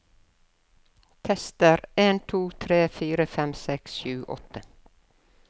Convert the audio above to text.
Tester en to tre fire fem seks sju åtte